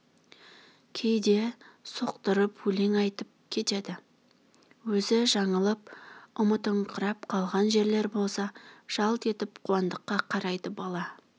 кейде соқтырып өлең айтып кетеді өзі жаңылып ұмытыңқырап қалған жерлер болса жалт етіп қуандыққа қарайды бала